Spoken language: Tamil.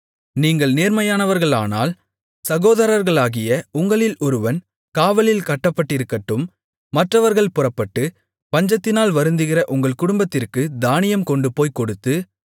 நீங்கள் நேர்மையானவர்களானால் சகோதரர்களாகிய உங்களில் ஒருவன் காவலில் கட்டப்பட்டிருக்கட்டும் மற்றவர்கள் புறப்பட்டு பஞ்சத்தினால் வருந்துகிற உங்கள் குடும்பத்திற்குத் தானியம் கொண்டுபோய்க் கொடுத்து